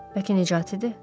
Bəlkə Nicatı idi?